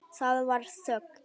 Það varð þögn.